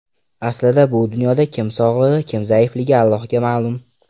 Aslida bu dunyoda kim sog‘ligi, kim zaifligi Allohga ma’lum.